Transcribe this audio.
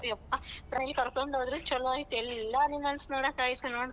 ಯಪ್ಪ ಕರ್ಕೊಂಡ್ ಹೋದ್ರು ಚಲೋ ಆಯ್ತು ಎಲ್ಲಾ animals ನೋಡಕ್ ಆಯ್ತ್ ನೋಡು.